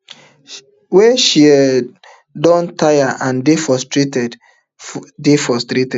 wey she um don taya and dey frustrated dey frustrated